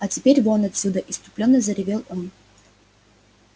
а теперь вон отсюда исступлённо заревел он